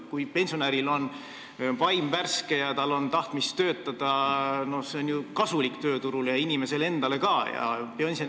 Kui pensionäril on vaim värske ja tal on tahtmist töötada, siis on see ju kasulik tööturule ja inimesele endale ka.